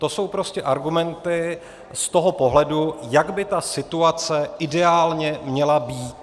To jsou prostě argumenty z toho pohledu, jak by ta situace ideálně měla být.